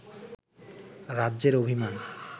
রাজ্যের অভিমান